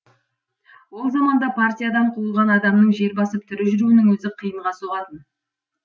ол заманда партиядан қуылған адамның жер басып тірі жүруінің өзі қиынға соғатын